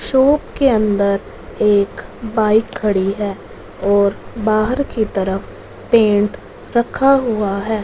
Shop के अंदर एक बाइक खड़ी है और बाहर की तरफ पेंट रखा हुआ है।